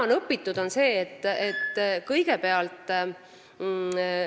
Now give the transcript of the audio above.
Nüüd on sellest kõigest õpitud.